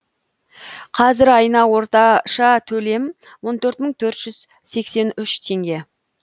қазір айына орташа төлем он төрт мың төрт жүз сексен үш теңге